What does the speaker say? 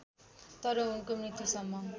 तर उनको मृत्युसम्म